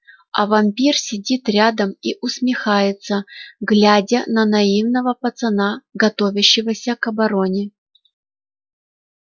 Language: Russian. а вампир сидит рядом и усмехается глядя на наивного пацана готовящегося к обороне